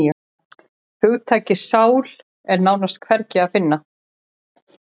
En hugtakið sál er nánast hvergi að finna.